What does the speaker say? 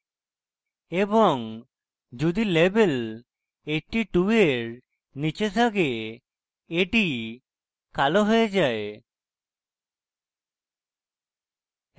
এবং যদি level 82 এর নীচে থাকে এটি কালো হয়ে যায়